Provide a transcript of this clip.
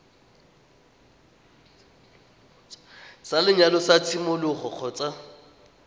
sa lenyalo sa tshimologo kgotsa